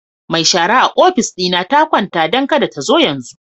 Mai shara a ofis dina ta kwanta, don kada ta zo yanzu.